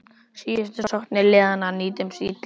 Síðustu sóknir liðanna nýttust illa.